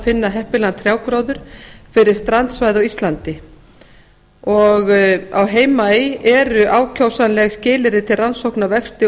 finna heppilegan trjágróður fyrir strandsvæði á íslandi á heimaey eru ákjósanleg skilyrði til rannsókna á vexti